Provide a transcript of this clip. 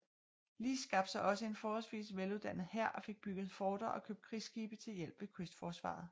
Li skabte sig også en forholdsvis vel uddannet hær og fik bygget forter og købt krigsskibe til hjælp ved kystforsvaret